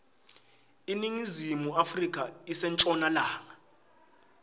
iningizimu afrika ise nshonalanga